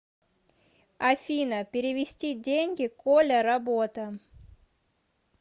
афина перевести деньги коля работа